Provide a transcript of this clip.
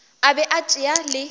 a be a tšea le